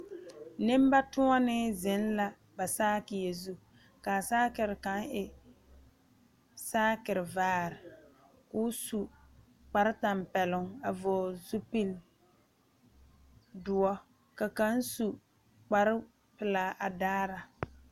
Nembatoɔnee zeŋ la ba saakie zu kaa saakere kaŋ e saakere vaare ka o zu kpar tampɛloŋ a vɔgele zupili doɔ ka kaŋ su koa pelaa a daara